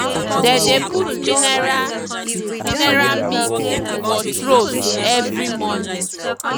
they dey put mineral mineral mix for troughs every morning.